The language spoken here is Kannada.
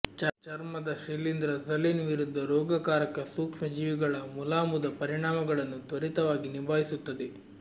ಚರ್ಮದ ಶಿಲೀಂಧ್ರ ಝಲೇನ್ ವಿರುದ್ಧ ರೋಗಕಾರಕ ಸೂಕ್ಷ್ಮಜೀವಿಗಳ ಮುಲಾಮುದ ಪರಿಣಾಮಗಳನ್ನು ತ್ವರಿತವಾಗಿ ನಿಭಾಯಿಸುತ್ತದೆ